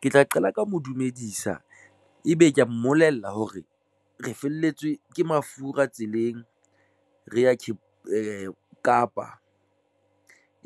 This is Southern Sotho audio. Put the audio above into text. Ke tla qala ka mo dumedisa, ebe ke ya mmolella hore re felletswe ke mafura tseleng, re ya Kapa